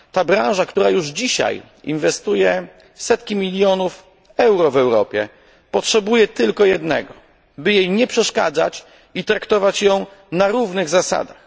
Ta branża, która już dzisiaj inwestuje setki milionów euro w Europie, potrzebuje tylko jednego by jej nie przeszkadzać i traktować ją na równych zasadach.